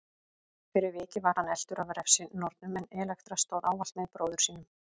Fyrir vikið var hann eltur af refsinornunum en Elektra stóð ávallt með bróður sínum.